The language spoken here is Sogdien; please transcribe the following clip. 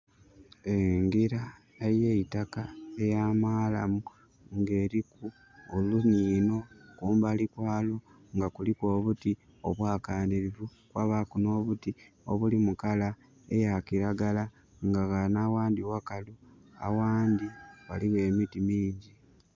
Eno njira eyeitaka eya marramu ng'eriku oluniino kumbali kwalwo ngakuliku obuti obwakanirivu kwabaaku no'obuti obuli mulangi eyakiragala nga ghano aghandi ghaligho emiti mingi.